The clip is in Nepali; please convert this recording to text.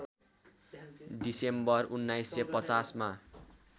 डिसेम्बर १९५० मा